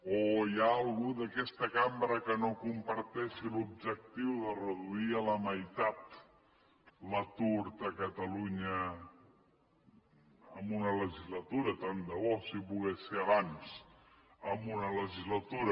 o hi ha algú d’aquesta cambra que no comparteixi l’objectiu de reduir a la meitat l’atur a catalunya en una legislatura tant de bo si pogués ser abans en una legislatura